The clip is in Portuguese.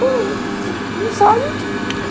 Você não sabe.